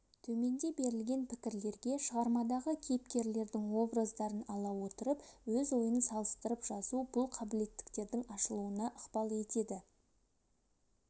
төменде берілген пікірлерге шығармадағы кейіпкерлердің образдарын ала отырып өз ойын салыстырып жазу бұл қабілеттіліктердің ашылыуна ықпал етеді